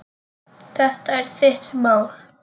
Þetta er þitt mál.